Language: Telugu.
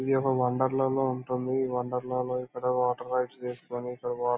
ఇది ఒక వన్దర్లా లా ఉంటుంది. ఈ వండర్ లా లో ఇక్కడ వాటర్ పైప్స్ వేసుకుని ఇక్కడ వాటర్ --